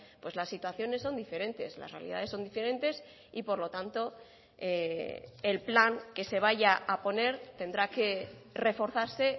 pues las situaciones son diferentes las realidades son diferentes y por lo tanto el plan que se vaya a poner tendrá que reforzarse